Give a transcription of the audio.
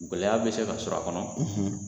Gɛlɛyaya bɛ se ka sɔrɔ a kɔnɔ